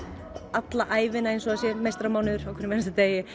alla ævina eins og það sé meistaramánuður á hverjum einasta degi